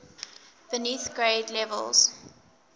beneath grade levels